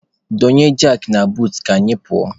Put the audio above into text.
Donye jakị na buutu ka anyị pụọ.